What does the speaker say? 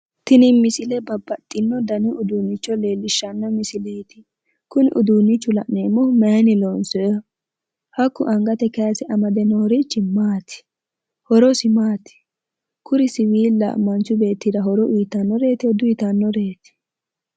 Tini misile babbaxxino dani uduunnicho leellishshanno misileeti. Kuni uduunnichu la'neemmohu mayinni loonsoyeho? Hakku angate kayise amade noorichi maati? Horosi maati? Kuri siwiilla manchu beettira horo uyitannoreetiho diuyitannoreeti?